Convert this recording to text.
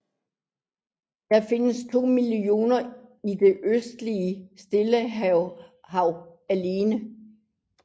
Der findes to millioner i det østlige Stillehav alene